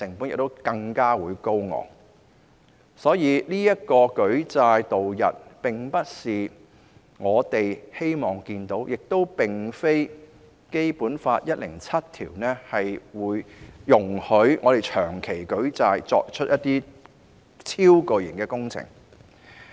因此，舉債度日並不是我們想看到的，而《基本法》第一百零七條亦不會容許我們長期舉債以展開超巨型的工程。